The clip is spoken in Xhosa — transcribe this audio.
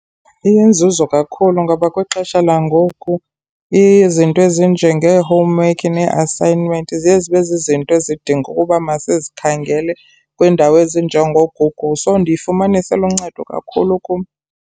Iyinzuzo kakhulu ngoba kwixesha langoku izinto ezinjengee-homework nee-assignment zezi bezizinto ezidinga ukuba masizikhangele kwiindawo ezinjengooGoogle, so ndiyifumanisa iluncedo kakhulu kum.